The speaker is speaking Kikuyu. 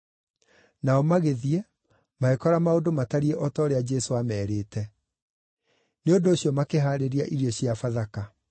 Nao magĩthiĩ, magĩkora maũndũ matariĩ o ta ũrĩa Jesũ aamerĩte. Nĩ ũndũ ũcio makĩhaarĩria irio cia Bathaka.